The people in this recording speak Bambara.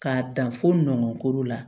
K'a dan fo nɔnɔko la